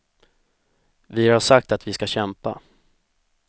Vi har sagt att vi ska kämpa.